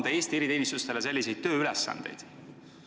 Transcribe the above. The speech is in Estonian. – anda Eesti eriteenistustele selliseid tööülesandeid?